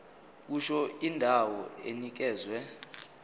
kusho indawo enikezwe